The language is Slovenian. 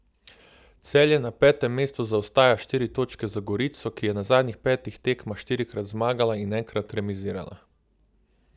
Celje na petem mestu zaostaja štiri točke za Gorico, ki je na zadnjih petih tekmah štirikrat zmagala in enkrat remizirala.